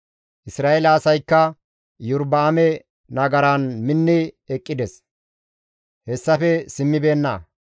Isra7eele asaykka Iyorba7aame nagaran minni eqqides; hessafe simmibeenna.